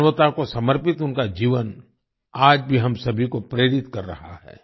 मानवता को समर्पित उनका जीवन आज भी हम सभी को प्रेरित कर रहा है